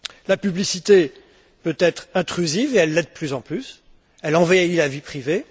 La publicité peut être intrusive, et elle l'est de plus en plus, elle envahit la vie privée.